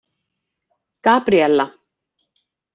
Gabríella